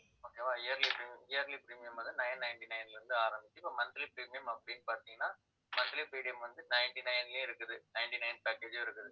okay வா yearly premium yearly premium வந்து, nine ninety-nine ல இருந்து ஆரம்பிச்சு இப்ப monthly premium அப்படினு பார்த்தீங்கன்னா, monthly premium வந்து, ninety-nine லயே இருக்குது. ninety-nine package ம் இருக்குது